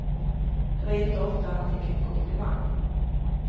Det var inte ofta han fick en komplimang.